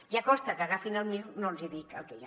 ja costa que agafin el mir no els dic el que hi ha